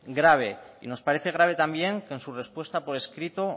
grave y nos parece grave también que en su respuesta por escrito